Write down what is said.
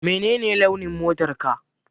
Menene launin motarka?